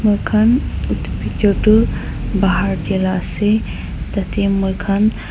moikhan itu picture tuh bahar tey lah ase tatey moikhan --